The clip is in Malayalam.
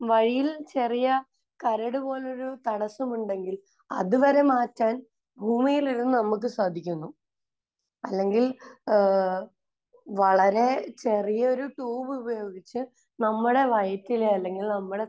വഴിയിൽ ചെറിയ കരട് പോലൊരു തടസ്സമുണ്ടെങ്കിൽ അത് വരെ മാറ്റാൻ ഭൂമിയിലിരുന്ന് നമുക്ക് സാധിക്കുന്നു. അല്ലെങ്കിൽ ഏഹ് വളരെ ചെറിയൊരു ട്യൂബ് ഉപയോഗിച്ച് നമ്മുടെ വയറ്റിലെ അല്ലെങ്കിൽ നമ്മുടെ